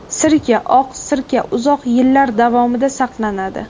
Sirka Oq sirka uzoq yillar davomida saqlanadi.